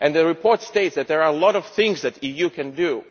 The report states that there are a lot of things that the EU can do.